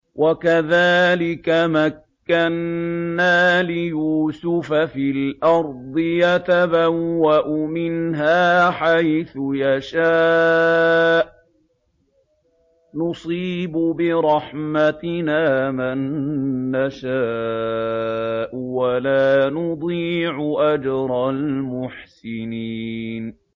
وَكَذَٰلِكَ مَكَّنَّا لِيُوسُفَ فِي الْأَرْضِ يَتَبَوَّأُ مِنْهَا حَيْثُ يَشَاءُ ۚ نُصِيبُ بِرَحْمَتِنَا مَن نَّشَاءُ ۖ وَلَا نُضِيعُ أَجْرَ الْمُحْسِنِينَ